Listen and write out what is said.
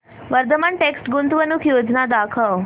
Vardhman text गुंतवणूक योजना दाखव